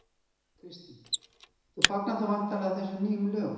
Kristín: Þú fagnar þá væntanlega þessum nýju lögum?